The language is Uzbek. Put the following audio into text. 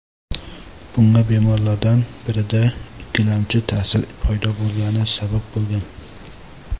Bunga bemorlardan birida ikkilamchi ta’sir paydo bo‘lgani sabab bo‘lgan.